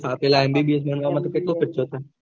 આં પેલા MBBS માં કેટલો ખર્ચો થાય